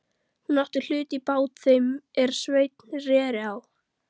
Hún átti hlut í bát þeim er Sveinn reri á.